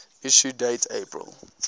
issue date april